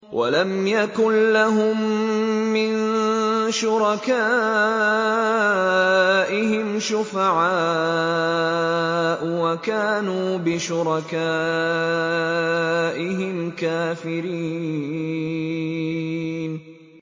وَلَمْ يَكُن لَّهُم مِّن شُرَكَائِهِمْ شُفَعَاءُ وَكَانُوا بِشُرَكَائِهِمْ كَافِرِينَ